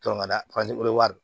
Tɔnɔ ka d'a